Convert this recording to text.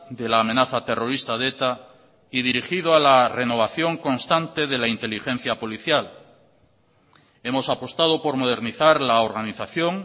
de la amenaza terrorista de eta y dirigido a la renovación constante de la inteligencia policial hemos apostado por modernizar la organización